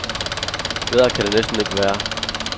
Bedre kan det næsten ikke være.